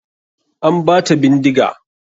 An bata bindiga.